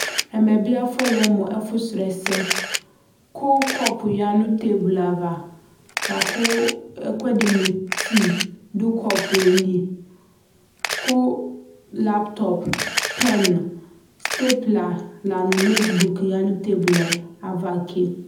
Ɛmɛ ne afɔlɛ mp ɛfo srɔɛsɛ, ko kɔpu ya no teblu ava, lako ɛkuɛde no tii do kɔpue li, ko laptɔp, pɛn, stepula la no notbuk ya no tebluɛ ava ke